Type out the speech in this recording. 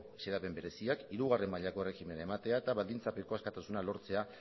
xedapen bereziak hirugarren mailako erregimena ematea eta baldintzapeko askatasuna lortzea